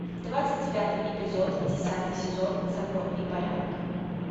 двадцать девятый эпизод десятый сезон закон и порядок